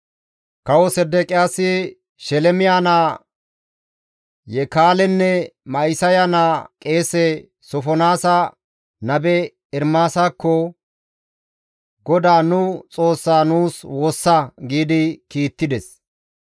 Kawo Sedeqiyaasi, Shelemiya naa Yekaalenne Ma7isaya naa qeese Sofonaasa nabe Ermaasakko, «GODAA nu Xoossaa nuus woossa» giidi kiittides.